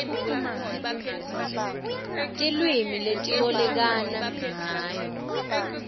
tilwimi letibolekana ngayo